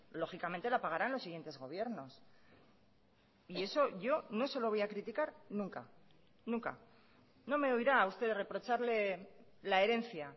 lógicamente la pagaran los siguientes gobiernos y eso yo no se lo voy a criticar nunca nunca no me oirá a usted reprocharle la herencia